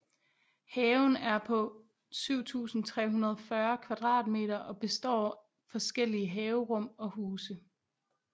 Haven er på 7340 kvadratmeter og består forskellige haverum og huse